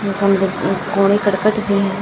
कमरा अम कोड़े करकट भी हैं।